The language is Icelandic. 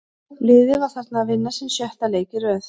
Liðið var þarna að vinna sinn sjötta leik í röð.